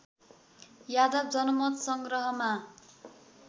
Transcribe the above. Yadav जनमतसँग्रहमा